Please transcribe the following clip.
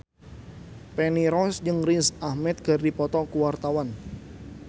Feni Rose jeung Riz Ahmed keur dipoto ku wartawan